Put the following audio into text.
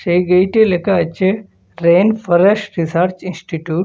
এই গেইটে লেখা আছে রেন ফরেস্ট রিসার্চ ইনস্টিটিউট ।